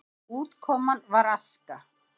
Útkoman var aska.